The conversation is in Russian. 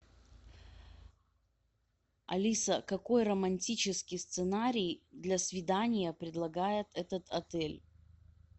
алиса какой романтический сценарий для свидания предлагает этот отель